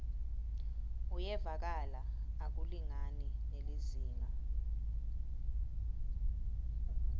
uyevakala akulingani nelizingaa